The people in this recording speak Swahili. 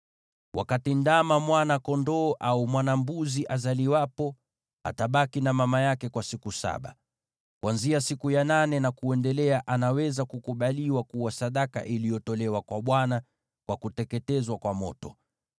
“Wakati ndama, mwana-kondoo au mwana-mbuzi azaliwapo, atabaki na mama yake kwa siku saba. Kuanzia siku ya nane na kuendelea anaweza kukubaliwa kuwa sadaka iliyotolewa kwa Bwana kwa kuteketezwa kwa moto.